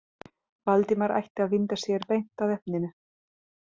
Valdimar ætti að vinda sér beint að efninu.